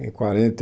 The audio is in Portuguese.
Em quarenta e